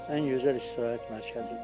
Ən gözəl istirahət mərkəzidir.